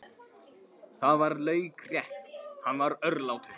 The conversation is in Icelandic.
Það var laukrétt, hann var örlátur.